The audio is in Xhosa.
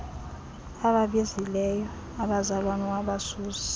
ababizileyo abazalwana wabasusa